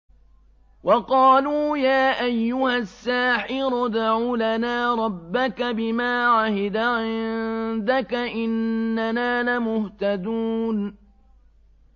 وَقَالُوا يَا أَيُّهَ السَّاحِرُ ادْعُ لَنَا رَبَّكَ بِمَا عَهِدَ عِندَكَ إِنَّنَا لَمُهْتَدُونَ